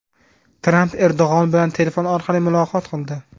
Tramp Erdo‘g‘on bilan telefon orqali muloqot qildi.